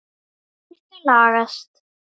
Þetta lagast.